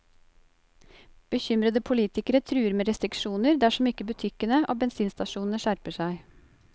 Bekymrede politikere truer med restriksjoner dersom ikke butikkene og bensinstasjonene skjerper seg.